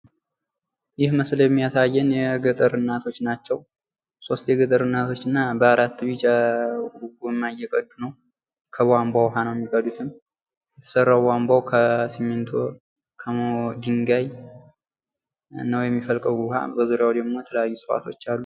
ይህ ምስል የሚያሳየን የገጠር እናቶች ናቸው ::ሦስት የገጠር እናቶች እና በአራት ቢጫ ጎማ እየቀዱ ነው ::ከቧንቧ ዉሃ ነው የሚቀዱትም ስራው ቧንቧው ከስሚቶ ከድንጋይ ነው የሚፈልቀው :: ዉሃ በዙሪያው ድግሞ የተለያዩ እፅዋቶች አሉ ::